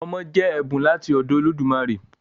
Ọmọ jẹ́ ẹ̀bùn láti ọ̀dọ̀ Olódùmarè